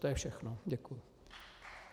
To je všechno, děkuji.